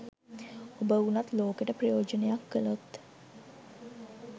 ඔබ වුනත් ලෝකෙට ප්‍රයෝජනයක් කලොත්